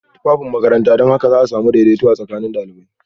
Tufafin makaranta don haka za a sami daidaito tsakanin ɗalibai